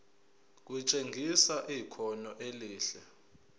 kutshengisa ikhono elihle